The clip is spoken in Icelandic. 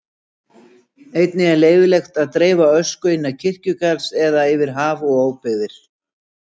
Einnig er leyfilegt að dreifa ösku innan kirkjugarðs eða yfir haf og óbyggðir.